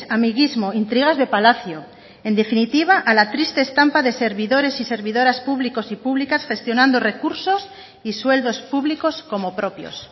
amiguismo intrigas de palacio en definitiva a la triste estampa de servidores y servidoras públicos y públicas gestionando recursos y sueldos públicos como propios